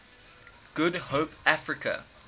good hope africa